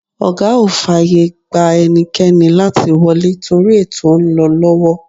Ọ̀gá ò fàyè gba ẹnikẹ́ni láti wọlé torí ètò ń lọ lọ́wọ́.